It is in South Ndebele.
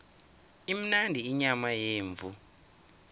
imnandi inyama yemvu